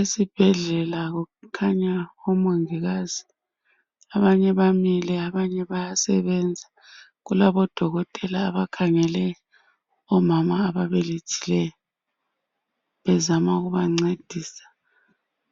Esibhedlela kukhanya omongikazi abanye bamile abanye bayasebenza. Kulabodokotela abakhangele omama ababelethileyo bezama ukubancedisa